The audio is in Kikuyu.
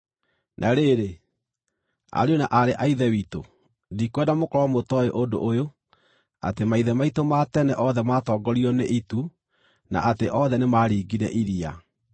Na rĩrĩ, ariũ na aarĩ a Ithe witũ, ndikwenda mũkorwo mũtooĩ ũndũ ũyũ, atĩ maithe maitũ ma tene othe maatongoragio nĩ itu, na atĩ othe nĩmaringire iria.